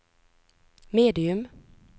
medium